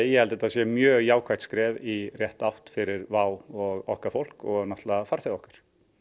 ég að þetta sé mjög jákvætt skref í rétta átt fyrir WOW og okkar fólk og náttúrulega fyrir farþega okkar